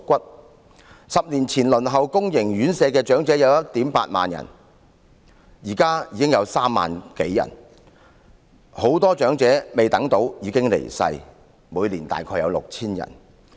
在10年前輪候公營院舍的長者有 18,000 人，現時已經增至3萬多人，很多長者未等到宿位便已經離世，每年大約為 6,000 人。